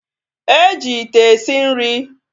E ji ite esi nri